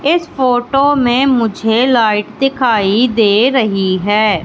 इस फोटो में मुझे लाइट दिखाई दे रहीं हैं।